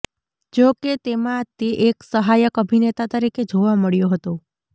જો કે તેમાં તે એક સહાયક અભિનેતા તરીકે જોવા મળ્યો હતો